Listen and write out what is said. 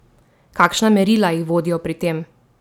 Kakšna merila jih vodijo pri tem?